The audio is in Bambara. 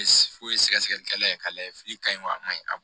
Foyi sɛgɛsɛgɛlikɛla ye k'a lajɛ fili ka ɲi wa a ma ɲi a ma